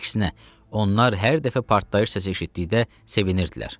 Əksinə, onlar hər dəfə partlayış səsi eşitdikdə sevinirdilər.